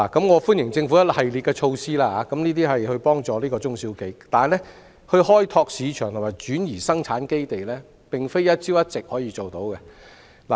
我歡迎政府推出一系列協助中小企業的措施，但開拓市場及轉移生產基地，並非一朝一夕可以做到。